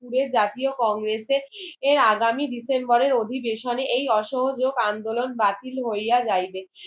যে জাতীয় কংগ্রেসের এর আগামী ডিসেম্বরের অধিবেশনে এই অসহোযোক আন্দোলন বাতিল হইয়া যাইবে